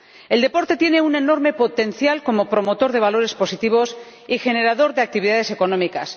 El deporte tiene un enorme potencial como promotor de valores positivos y generador de actividades económicas.